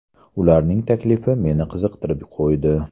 Ularning taklifi meni qiziqtirib qo‘ydi.